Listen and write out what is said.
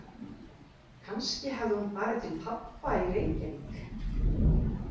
Kannski hafði hún farið til pabba í Reykjavík.